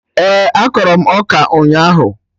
Ee, akọrọ m ọka ụnyaahụ